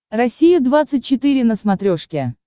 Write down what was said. россия двадцать четыре на смотрешке